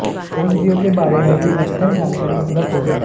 औषधियों के बारे में भी अद्यतन जानकारी उपलब्ध होगी